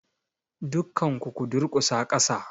Dukkan ku ku durkusa kasa!